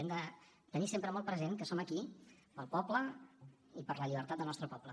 hem de tenir sempre molt present que som aquí pel poble i per a la llibertat del nostre poble